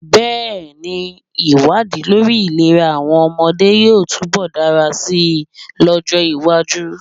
Bẹ́ẹ̀ ni, ìwádìí lórí ìlera àwọn ọmọdé yóò túnbọ̀ dára si lọ́jọ́-iwájú.